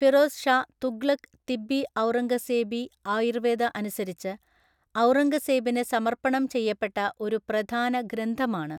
ഫിറോസ് ഷാ തുഗ്ലക്ക് തിബ്ബിഔറംഗസേബി ആയൂർവേദ അനുസരിച്ച് ഔറംഗസേബിന് സമർപ്പണം ചെയ്യപ്പെട്ട ഒരു പ്രധാന ഗ്രന്ഥമാണ്.